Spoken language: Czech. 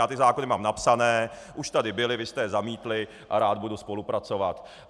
Já ty zákony mám napsány, už tady byly, vy jste je zamítli a rád budu spolupracovat.